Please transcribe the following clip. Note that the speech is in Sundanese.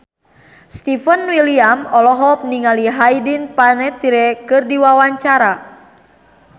Stefan William olohok ningali Hayden Panettiere keur diwawancara